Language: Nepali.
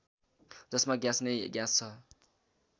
जसमा ग्यास नै ग्यास छ